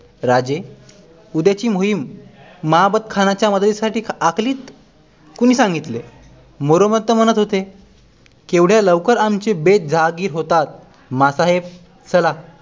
राजे उद्याची मोहिम महाबतखानाच्या मदतीसाठी आखलीत? कुणी सांगितले मोरोपंत म्हणत होते एवढ्या लवकर आमचे बेत जाहीर होतात माँ साहेब चला